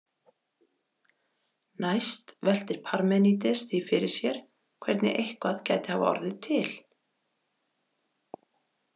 Næst veltir Parmenídes því fyrir sér hvernig eitthvað gæti hafa orðið til.